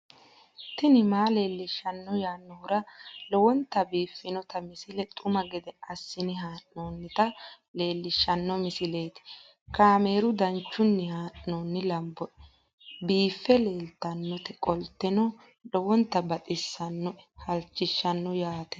tini maa leelishshanno yaannohura lowonta biiffanota misile xuma gede assine haa'noonnita leellishshanno misileeti kaameru danchunni haa'noonni lamboe biiffe leeeltannoqolten lowonta baxissannoe halchishshanno yaate